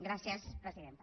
gràcies presidenta